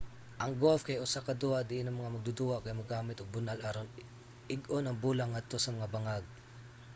ang golf kay usa ka duwa diin ang mga magduduwa kay mogamit og bunal aron ig-on ang bola ngadto sa mga bangag